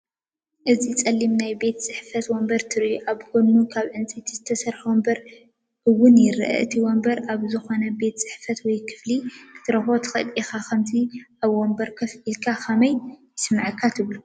እዚ ጸሊም ናይ ቤት ጽሕፈት ወንበር ትርእዩ። ኣብ ጎድኑ ካብ ዕንጨይቲ ዝተሰርሐ ወንበር እውን ይርአ። እቲ ወንበር ኣብ ዝኾነ ቤት ጽሕፈት ወይ ክፍሊ ክትረኽቦ ትኽእል ኢኻ። ከምዚ ኣብ ወንበር ኮፍ ኢልካ ከመይ ይስምዓካ ትብሉ?